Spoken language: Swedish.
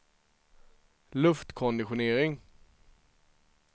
luftkonditionering